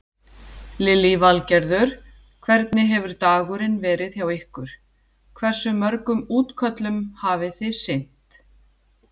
Lillý Valgerður: Hvernig hefur dagurinn verið hjá ykkur, hversu mörgum útköllum hafi þið sinnt?